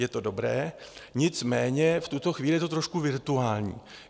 Je to dobré, nicméně v tuto chvíli je to trošku virtuální.